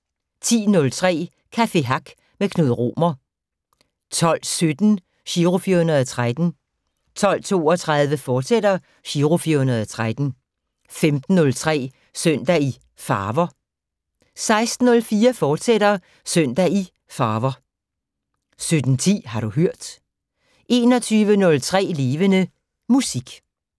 10:03: Café Hack med Knud Romer 12:17: Giro 413 12:32: Giro 413, fortsat 15:03: Søndag i Farver 16:04: Søndag i Farver, fortsat 17:10: Har du hørt 21:03: Levende Musik